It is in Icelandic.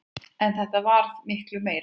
En þetta varð miklu meira.